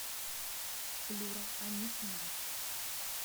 флюра анисимова